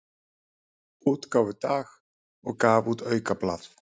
útgáfudag og gaf út aukablað.